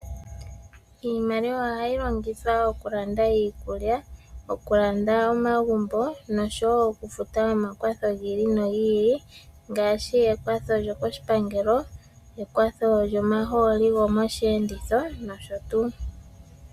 Iimaliwa ohayi longithwa okulanda iikulya, okulanda omagumbo noshowo okufuta omakwatho gi ili nogi ili ngaashi ekwatho lyokoshipangelo, ekwatho lyomahooli gomosheenditho nosho tuu.